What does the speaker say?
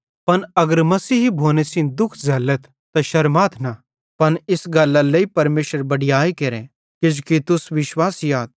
पन अगर मसीही भोने सेइं दुःख झ़ैल्लथ त शरमाए न पन इस गल्लरे लेइ परमेशरेरी बडीयाई केरे किजोकि तुस विश्वासी आथ